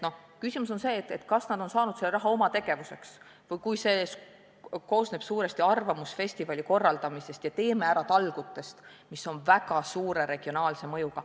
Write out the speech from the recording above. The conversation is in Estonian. Küsimus on selles, kas nad on saanud selle raha oma tegevuseks või on see läinud suuresti arvamusfestivali korraldamisele ja "Teeme ära!" talgutele, mis on väga suure regionaalse mõjuga.